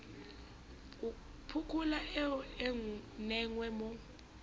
pokola eo e nenge mo